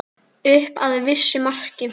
Upp að vissu marki.